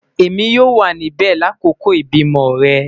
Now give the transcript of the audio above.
Emi yoo wa nibẹ lakoko ibimọ rẹ